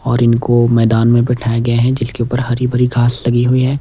और इनको मैदान में बिठाये गए हैं जिसके ऊपर हरी भरी घास लगी हुई है।